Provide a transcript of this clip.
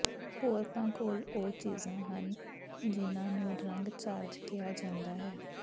ਕੌਰਕਾਂ ਕੋਲ ਉਹ ਚੀਜ਼ਾਂ ਹਨ ਜਿਹਨਾਂ ਨੂੰ ਰੰਗ ਚਾਰਜ ਕਿਹਾ ਜਾਂਦਾ ਹੈ